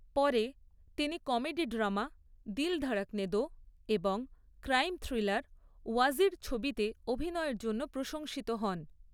পরে, তিনি comedy drama 'Dil Dhadakne Do' এবং ক্রাইম থ্রিলার 'ওয়াজির' ছবিতে অভিনয়ের জন্য প্রশংসিত হন।